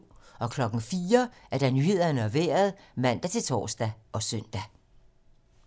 04:00: Nyhederne og Vejret (man-tor og søn)